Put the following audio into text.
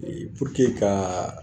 Ee Puruke kaa